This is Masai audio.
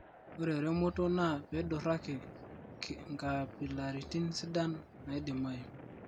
ore eremoto naa peiduraki nkapilaritin sidan naidimayu